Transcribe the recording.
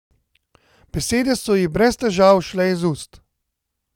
Besede so ji brez težav šle iz ust.